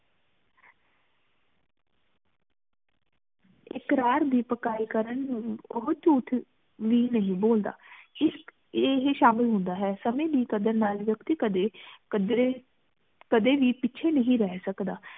ਇਕ਼ਰਾਰ ਦੀ ਪੱਕਾਇ ਕਰਨ ਨੂੰ ਬੋਹਤ ਝੂਠ ਵੀ ਨਹੀਂ ਬੋਲਦਾ ਏਹੀ ਸ਼ਾਮਿਲ ਹੁੰਦਾ ਹੈ ਸੰਮੀ ਦੀ ਕਦਰ ਨਾਲ ਵਿਅਕਤੀ ਕਦੇ ਕਦਰੇ ਕਦੇ ਵੀ ਪਿੱਛੇ ਨਹੀਂ ਰਹ ਸਕਦਾ